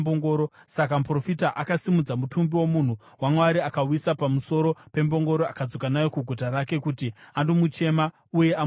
Saka muprofita akasimudza mutumbi womunhu waMwari, akauisa pamusoro pembongoro akadzoka nawo kuguta rake kuti andomuchema uye amuvige.